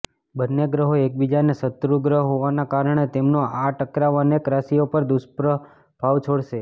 બંને ગ્રહો એકબીજાના શત્રુ ગ્રહ હોવાના કારણે તેમનો આ ટકરાવ અનેક રાશિઓ પર દુષ્પ્રભાવ છોડશે